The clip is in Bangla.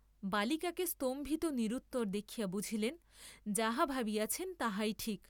বালিকাকে স্তম্ভিত নিরুত্তর দেখিয়া বুঝিলেন, যাহা ভাবিয়াছেন তাহাই ঠিক।